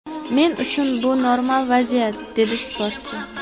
Men uchun bu normal vaziyat”, dedi sportchi.